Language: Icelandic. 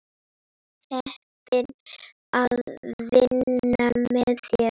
Heppin að vinna með þér.